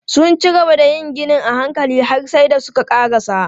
Sun cigaba da yin ginin a hankali har sai da suka ƙarasa.